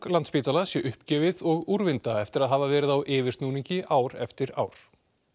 Landspítala sé uppgefið og úrvinda eftir að hafa verið á yfirsnúningi ár eftir ár